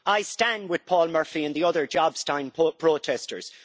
I stand with Paul Murphy and the other Jobstown protesters.